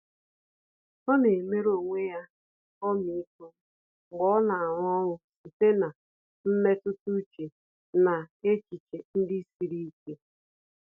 Ọ́ nà-éméré onwe ya ọmịiko mgbe ọ́ nà-árụ́ ọ́rụ́ site na mmetụta úchè na echiche ndị siri ike.